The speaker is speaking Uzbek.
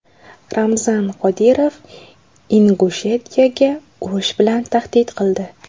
Ramzan Qodirov Ingushetiyaga urush bilan tahdid qildi.